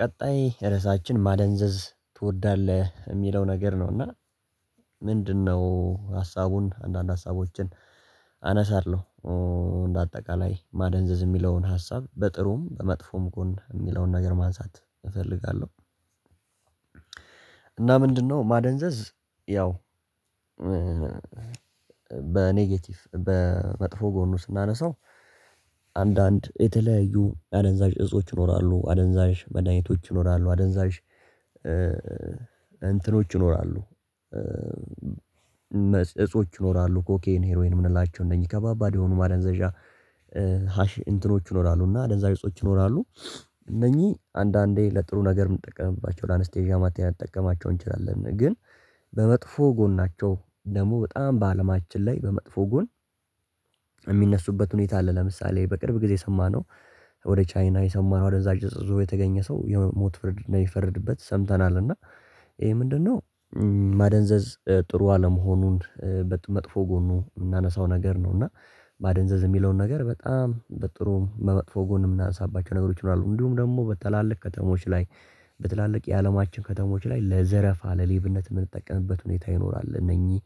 ቀጣይ ርዕሳችን ማደንዘዝ ትወዳለህ የሚለው ነገር ነው? እና ምንድነው ሀሳቡን አንዳንድ ሀሳቦችን አነሳለሁ። እንደ አጠቃላይ ማደንዘዝ የሚለውን ሀሳብ በጥሩም በመጥፎም ጎን የሚለውን ነገር ማንሳት እፈልጋለሁ። እና ምንድነው ማደንዘዝ? ያው በኔጌቲቭ በመጥፎ ጎን ውስጥ ስናነሳው አንዳንድ የተለያዩ አደንዛዥ እጾች ይኖራሉ አደንዛዥ መድኃኒቶች ይኖራሉ አደንዛዥ እንትኖች ይኖራሉ። እነ እጾች ይኖራሉ ኮኬይን ሄሮይን የምንላቸው እነኚህ ከባባድ የሆኑ ማለንዘዣ እንትኖች ይኖራሉ እና አደንዛዥ እጾች ይኖራሉ። እነዚህ አንዳንዴ ለጥሩ ነገር የምንጠቀምባቸው ለአንስቴዣ ማቴሪያል የምንጠቀማቸው እንችላለን ግን በመጥፎ ጎን ናቸው። ደግሞ በጣም በአለማችን ላይ በመጥፎ ጎን የሚነሱበት ሁኔታ አለ ለምሳሌ በቅርብ ጊዜ ሰማነው። ወደ ቻይና የሰማነው አደንዛዥ የተገኘ ሰው የሞት ፍርድ ነው የፈረድበት ሰምተናል እና ይሄ ምንድነው ማደንዘዝ ጥሩ አለመሆኑን በመጥፎ ጎኑ የምናነሳው ነገር ነው። እና ማደንዘዝ የሚለውን ነገር በጣም በጥሩ በመጥፎ ጎን የምናነሳባቸው ነገሮች ይኖራሉ። እንዲሁምግሞ በተላለቅ ከተሞች ላይ በትላልቅ የአለማችን ከተሞች ላይ ለዘረፋ ለሌብነት የምንጠቀምበት ሁኔታ ይኖራል። እነኚህ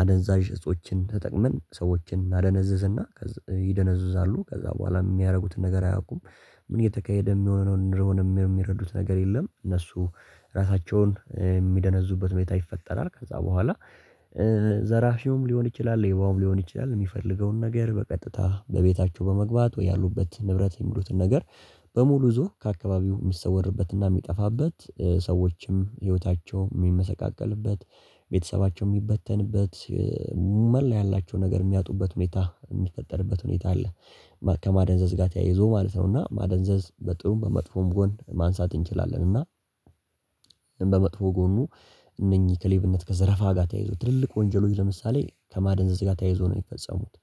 አደንዛዥ እጾችን ተጠቅመን ሰዎችን እናደነዝዝ እና ይደነዝዛሉ ከዛ በኋላ የሚያደርጉትን ነገር አያውቁም ምን እየተካሄደ የሚሆነውን እንደሆነ የሚረዱት ነገር የለም። እነሱ ራሳቸውን የሚደነዙበት ቤት አይፈጠራል ከዛ በኋላ ዘራፊውም ሊሆን ይችላል የይባውም ሊሆን ይችላል የሚፈልገውን ነገር በቀጥታ በቤታቸው በመግባት ወይ ያሉበት ንብረት የሚሉትን ነገር በሙሉ እዞ ከአካባቢው የሚሰወድበትና የሚጠፋበት ሰዎችም ህይወታቸውም የሚመሰቃቀልበት ቤተሰባቸውላ ያላቸው ነገር የሚያጡበት ሁኔታ የሚፈጠርበት ሁኔታ አለ። ከማደንዘዝ ጋር ተያይዞ ማለት ነው። እና ማደንዘዝ በጥሩም በመጥፎም ጎን ማንሳት እንችላለን። እና በመጥፎ ጎኑ እነኚህ ከሌብነት ከዘረፋ ጋር ተያይዞ ትልልቅ ወንጀሎች ለምሳሌ ከማደንዘዝ ጋር ተያይዞ ነው የፈጸሙት።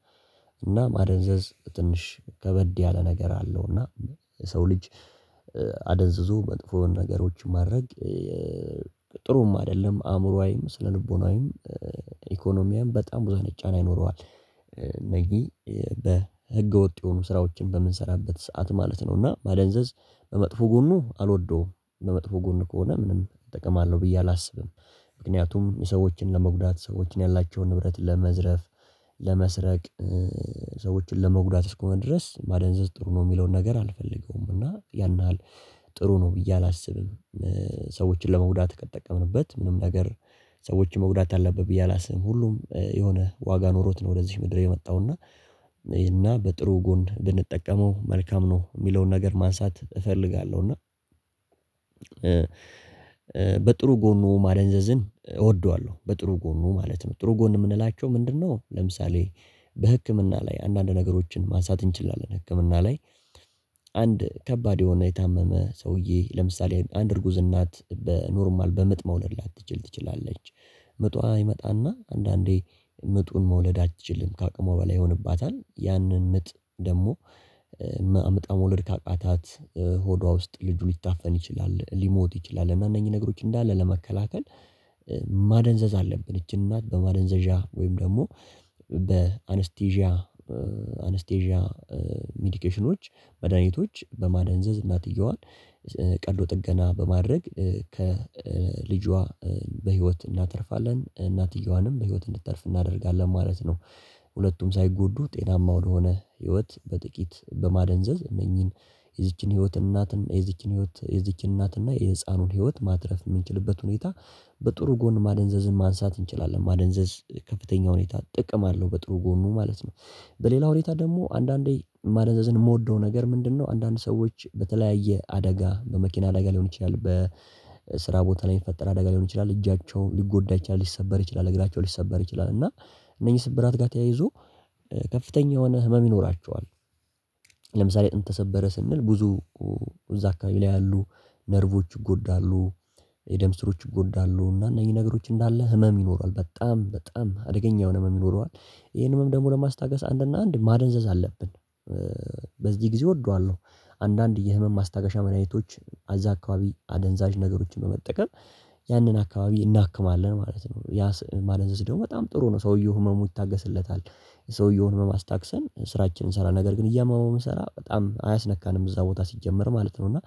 እና ማደንዘዝ ትንሽ ከበድ ያለ ነገር አለው። እና ሰው ልጅ አደንዝዞ መጥፎውን ነገሮችን ማድረግ ጥሩም አይደለም አእምሮአዊም ስነልቦናዊም ኢኮኖሚያም በጣም ብዙ አነጭ ጫና ይኖረዋል። እና ይሄ በህገወጥ የሆኑ ስራዎችን በምንሰራበት ሰዓት ማለት ነው እና ማደንዘዝ በመጥፎ ጎኑ አልወደውም። በመጥፎ ጎን ከሆነ ምንም እጠቀማለሁ ብዬ አላስብም። ምክንያቱም የሰዎችን ለመጉዳት ሰዎችን ያላቸውን ንብረት ለመዝረፍ ለመስረቅ ሰዎችን ለመጉዳት እስከሆነ ድረስ ማደንዘዝ ጥሩ ነው የሚለውን ነገር አልፈልገውም እና ያን ነው ጥሩ ነው ብዬ አላስብም። ሰዎችን ለመጉዳት ከጠቀምንበት ምንም ነገር ሰዎችን መጉዳት አለብህ ብዬ አላስብም ሁሉም የሆነ ዋጋ ኖሮት ነው። ወደዚህ ምድር የመጣው እና እና በጥሩ ጎን እንድንጠቀመው መልካም ነው የሚለውን ነገር ማንሳት እፈልጋለሁ። እና በጥሩ ጎኑ ማለንዘዝን እወደዋለሁ በጥሩ ጎኑ ማለት ነው። ጥሩ ጎን የምንላቸው ምንድነው? ለምሳሌ በህክምና ላይ አንዳንድ ነገሮችን ማንሳት እንችላለን ህክምና ላይ አንድ ከባድ የሆነ የታመመ ሰውዬ ለምሳሌ አንይጉዝ እናት በኖርማል በምጥ መውለድ ላይ አትችል ትችላለች። ምጧ አይመጣና አንዳንዴ ምጡን መውለድ አትችልም ከአቅሟ በላይ ይሆንባታል ያንን ምጥ ደግሞ አምጣ መውለድ ካቃታት ሆዷ ውስጥ ልጁ ሊታፈን ይችላል ሊሞት ይችላል። እና እነኚህ ነገሮች እንዳለ ለመከላከል ማደንዘዝ አለብን ይቺን እናት በማደንዘዣ ወይም ደግሞ በአንስቴዥያ አንስቴዥያ ሜዲኬሽኖች መድኃኒቶች በማደንዘዝ እናትየዋን ቀዶ ጥገና በማድረግ ከልጇ በህይወት እናተርፋለን እናትየዋንም በህይወት እንድትተርፍ እናደርጋለን ማለት ነው። ሁለቱም ሳይጎዱ ጤናማ ወደሆነ ህይወት በጥቂት በማደንዘዝ እነኚህን የዚችን ህይወት እናት የዚችን ህይወት የዚችን እናት እና የህፃኑን ህይወት ማትረፍ የምንችልበት ሁኔታ በጥሩ ጎን ማደንዘዝን ማንሳት እንችላለን። ማደንዘዝ ከፍተኛ ሁኔታ ጥቅም አለው በጥሩ ጎኑ ማለት ነው። በሌላ ሁኔታ ደግሞ አንዳንዴ ማደንዘዝን የምወደው ነገር ምንድነው? አንዳንድ ሰዎች በተለያየ አደጋ በመኪና አደጋ ሊሆን ይችላል በስራ ቦታ ላይ የሚፈጠር አደጋ ሊሆን ይችላል እጃቸው ሊጎዳ ይችላል ሊሰበር ይችላል እግራቸው ሊሰበር ይችላል እና እነኚህ ስብራት ጋር ተያይዞ ከፍተኛ የሆነ ህመም ይኖራቸዋል። ለምሳሌ አጥንት ተሰበረ ስንል ብዙ እዛ አካባቢ ላይ ያሉ ነርቮች ይጎዳሉ የደምስሮች ይጎዳሉ እና እነዚህ ነገሮች እንዳለ ህመም ይኖራል በጣም በጣም አደገኛ የሆነ ህመም ይኖረዋል። ይሄንንም ደግሞ ለማስታገስ አንድና አንድ ማደንዘዝ አለብን። በዚህ ጊዜ እወደዋለሁ። አንዳንድ የህመም ማስታገሻ ምንያቶች አዛ አካባቢ አደንዛዥ ነገሮችን በመጠቀም ያንን አካባቢ እናክማለን ማለት ነው። ያ ማለን ስደው በጣም ጥሩ ነው ሰውየው ህመሙ ይታገስለታል። ሰውየውን ህመም አስታግሰን ስራችንን እንሰራ ነገር ግን እያመመው ብንሰራ በጣም አያስነካንም እዛ ቦታ ሲጀመር ማለት ነው። እና